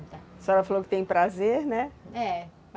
Só ela falou que tem prazer, né?